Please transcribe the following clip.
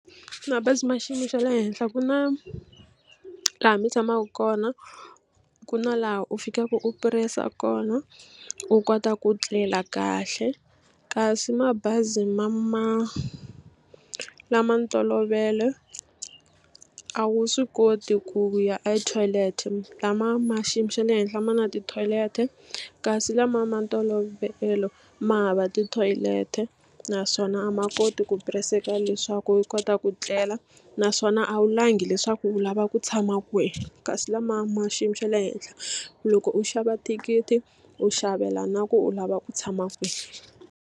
Mabazi ma xiyimo xa le henhla ku na laha mi tshamaka kona ku na laha u fikaka u puresa kona u kota ku tlela kahle kasi mabazi ma ma lama ntolovelo a wu swi koti ku ya ethoyilete lama ma xiyimo xa le henhla ma na tithoyileti kasi lama ma ntolovelo ma hava tithoyileti naswona a ma koti ku puresa leswaku u kota ku tlela naswona a wu langi leswaku u lava ku tshama kwihi kasi lama ma xiyimo xa le henhla loko u xava thikithi u xavela na ku u lava ku tshama kwini.